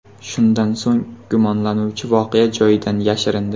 Shundan so‘ng, gumonlanuvchi voqea joyidan yashirindi.